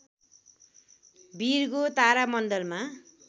Virgo तारा मण्डलमा